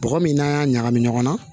Bɔgɔ min n'a y'a ɲagami ɲɔgɔn na